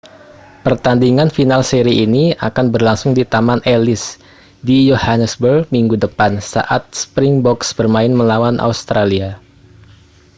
pertandingan final seri ini akan berlangsung di taman ellis di johannesburg minggu depan saat springboks bermain melawan australia